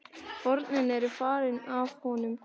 Hornin eru farin af honum.